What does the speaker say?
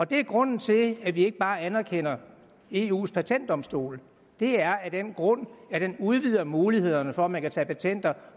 det er grunden til at vi ikke bare anerkender eus patentdomstol det er af den grund at den udvider mulighederne for at man kan tage patent